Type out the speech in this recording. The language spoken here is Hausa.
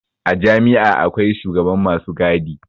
A jami'a akwai shugaban masu gadi